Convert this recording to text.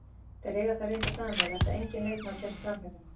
Þeir eiga það reyndar sameiginlegt að enginn leikmaður kemst framhjá þeim.